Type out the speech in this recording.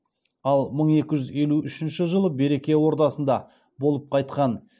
ал мың екі жүз елу үшінші жылы береке ордасында болып қайтқан